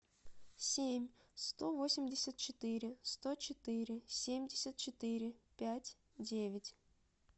семь сто восемьдесят четыре сто четыре семьдесят четыре пять девять